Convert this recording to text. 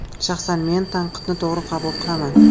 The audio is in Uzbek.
Shaxsan men tanqidni to‘g‘ri qabul qilaman.